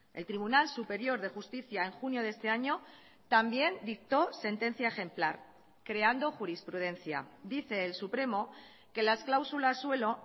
el tribunal superior de justicia en junio de este año también dictó sentencia ejemplar creando jurisprudencia dice el supremo que las cláusulas suelo